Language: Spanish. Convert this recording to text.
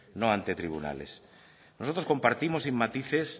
no ante tribunales nosotros compartimos sin matices